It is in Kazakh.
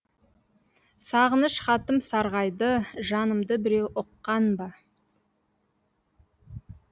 сағыныш хатым сарғайды жанымды біреу ұққан ба